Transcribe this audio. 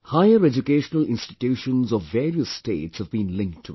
Higher educational institutions of various states have been linked to it